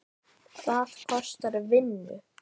Það kostar vinnu!